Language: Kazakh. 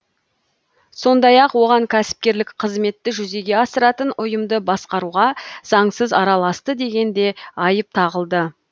сондай ақ оған кәсіпкерлік қызметті жүзеге асыратын ұйымды басқаруға заңсыз араласты деген де айып тағылды